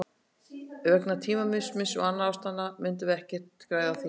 Vegna tímamismunarins og annarra ástæðna myndum við ekkert græða á því.